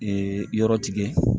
yɔrɔ tigɛ